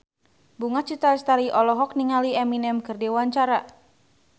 Bunga Citra Lestari olohok ningali Eminem keur diwawancara